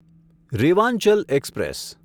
Rewanchal express